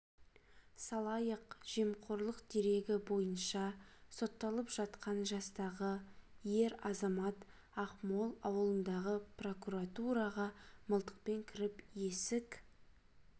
салайық жемқорлық дерегі бойынша сотталып жатқан жастағы ер азамат ақмол ауылындағы прокуратураға мылтықпен кіріп есік